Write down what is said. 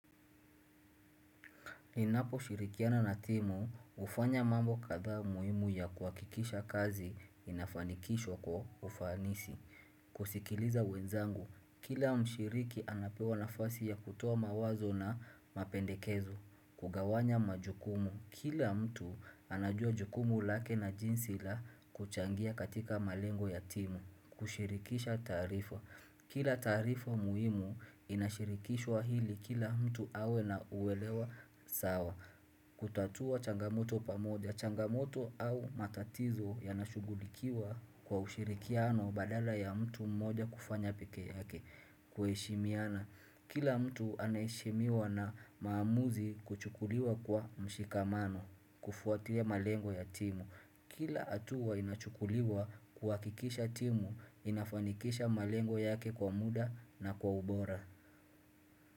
Ninaposhirikiana na timu, hufanya mambo kadha muhimu ya kuhakikisha kazi inafanikishwa kwa ufanisi. Kusikiliza wenzangu, kila mshiriki anapewa nafasi ya kutoa mawazo na mapendekezo. Kugawanya majukumu, kila mtu anajua jukumu lake na jinsi la kuchangia katika malengo ya timu. Kushirikisha taarifa. Kila taarifa muhimu inashirikishwa ili kila mtu awe na uwelewa sawa. Kutatua changamoto pamoja. Changamoto au matatizo yanashughulikiwa kwa ushirikiano badala ya mtu mmoja kufanya pekee yake. Kuheshimiana. Kila mtu anaheshimiwa na maamuzi kuchukuliwa kwa mshikamano. Kufuatia malengo ya timu. Kila hatua inachukuliwa kuhakikisha timu inafanikisha malengo yake kwa muda na kwa ubora.